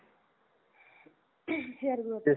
hair growth साठी